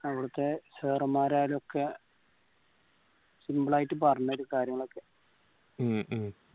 അവിടുത്തെ sir മാരായലും ഒക്കെ simple ആയിട്ട് പറഞ്ഞരും കാര്യങ്ങളൊക്കെ